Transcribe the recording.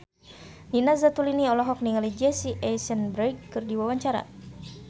Nina Zatulini olohok ningali Jesse Eisenberg keur diwawancara